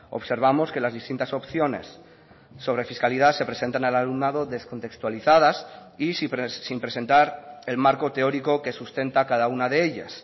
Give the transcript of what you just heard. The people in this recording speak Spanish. observamos que las distintas opciones sobre fiscalidad se presentan al alumnado descontextualizadas y sin presentar el marco teórico que sustenta cada una de ellas